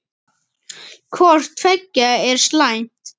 Hvort tveggja er slæmt.